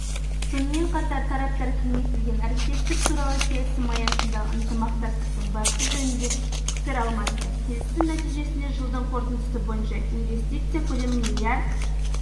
сонымен қатар тараптар кеңейтілген әріптестік туралы келісім аясындағы ынтымақтастықтың барысы жөнінде пікір алмасты келісім нәтижесінде жылдың қорытындысы бойынша инвестиция көлемі миллиард